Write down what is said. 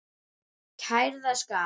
Kærða skal